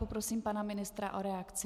Poprosím pana ministra o reakci.